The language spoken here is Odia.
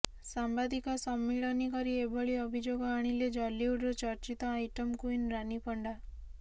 ସାମ୍ବାଦିକ ସମ୍ମଳନୀ କରି ଏଭଳି ଅଭିଯୋଗ ଆଣିଲେ ଜଲିଉଡର ଚର୍ଚିତ ଆଇଟମ କୁଇନ ରାନୀ ପଣ୍ଡା